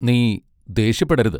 നീ ദേഷ്യപ്പെടരുത്.